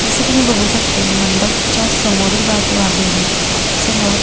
जस की मी बघू शकते मंडपच्या समोरील बाजू आहे ही समोर--